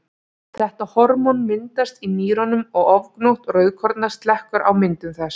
Þetta hormón myndast í nýrunum og ofgnótt rauðkorna slekkur á myndun þess.